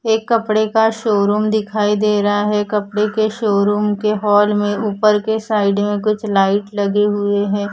एक कपड़े का शोरूम दिखाई दे रहा है कपड़े के शोरूम के हॉल में ऊपर के साइड में कुछ लाइट लगे हुए हैं।